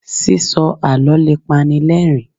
sísọ àlọ le pani l'ẹrin